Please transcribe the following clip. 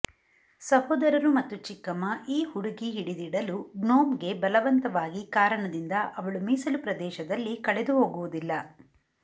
ಸಹೋದರರು ಮತ್ತು ಚಿಕ್ಕಮ್ಮ ಈ ಹುಡುಗಿ ಹಿಡಿದಿಡಲು ಗ್ನೋಮ್ಗೆ ಬಲವಂತವಾಗಿ ಕಾರಣದಿಂದ ಅವಳು ಮೀಸಲು ಪ್ರದೇಶದಲ್ಲಿ ಕಳೆದುಹೋಗುವುದಿಲ್ಲ